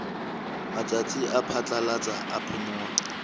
matsatsi a phatlalatsa a phomolo